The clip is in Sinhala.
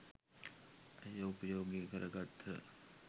ඇය උපයෝගී කර ගත්හ.